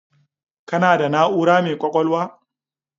Kana da na'ura mai kwakwalwa